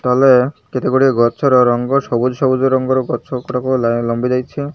ତଲେ କେତେ ଗୁଡିଏ ଗଛର ରଙ୍ଗ ସବୁଜ ସବୁଜ ରଙ୍ଗର ଗଛ ଉପରକୁ ବାଲା ଲମ୍ବି ଯାଇଛି।